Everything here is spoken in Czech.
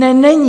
Ne, není!